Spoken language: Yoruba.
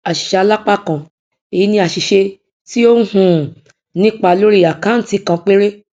àṣìṣealápákan èyi ní àṣìṣe tí ó um nípa lórí àkáǹtì kan péré